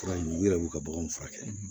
Fura in u yɛrɛ b'u ka baganw furakɛ